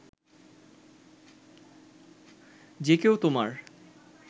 যে কেউ তোমার